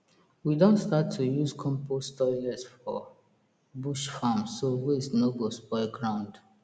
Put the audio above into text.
we don start to use compost toilet for bush farm so waste no go spoil ground